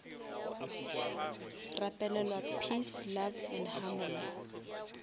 rapelelwa peace love and harmony